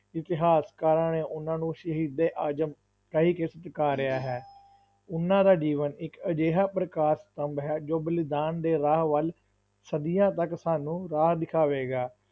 ਇਤਿਹਾਸਕਾਰਾਂ ਨੇ ਉਹਨਾਂ ਨੂੰ ਸ਼ਹੀਦੇ ਆਜ਼ਮ ਕਹਿਕੇ ਸਤਿਕਾਰਿਆ ਹੈ ਉਹਨਾਂ ਦਾ ਜੀਵਨ ਇਕ ਅਜਿਹਾ ਪ੍ਰਕਾਸ਼ ਸਤੰਭ ਹੈ, ਜੋ ਬਲੀਦਾਨ ਦੇ ਰਾਹ ਵੱਲ ਸਦੀਆਂ ਤੱਕ ਸਾਨੂੰ ਰਾਹ ਦਿਖਾਵੇਗਾ।